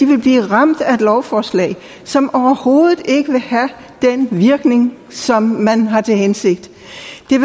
vil blive ramt af et lovforslag som overhovedet ikke vil have den virkning som man har til hensigt